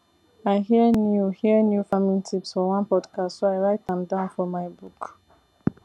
i hear new hear new farming tips for one podcast so i write am down for my book